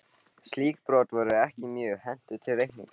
Slík brot voru ekki mjög hentug til reikninga.